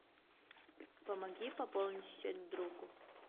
помоги пополнить счет другу